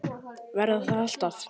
Verða það alltaf.